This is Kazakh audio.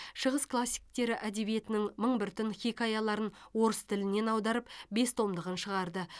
шығыс классиктері әдебиетінің мың бір түн хикаяларын орыс тілінен аударып бес томдығын шығарды